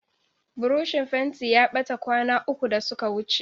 Burushin fentin ya ɓata kwana uku da suka wuce.